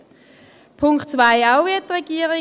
Beim Punkt 2: ebenfalls wie die Regierung.